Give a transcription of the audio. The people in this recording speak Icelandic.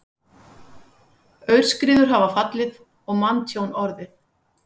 Aurskriður hafa fallið og manntjón orðið